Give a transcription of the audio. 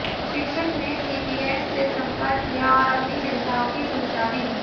शिक्षक ने सीपीएस से संपर्क किया और अपनी चिंताओं की सूचना दी